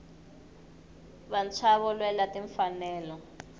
vantshwava lwela tinfanelo